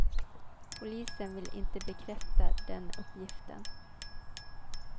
Polisen vill inte bekräfta den uppgiften.